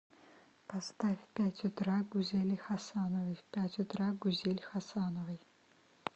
поставь в пять утра гузели хасановой в пять утра гузель хасановой